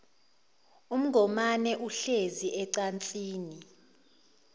ungomane uhlezi ecansini